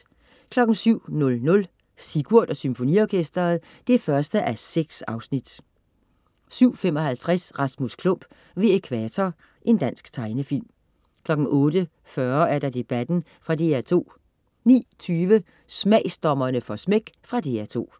07.00 Sigurd og Symfoniorkesteret 1:6 07.55 Rasmus Klump ved Ækvator. Dansk tegnefilm 08.40 Debatten. Fra DR2 09.20 Smagsdommerne får smæk. Fra DR2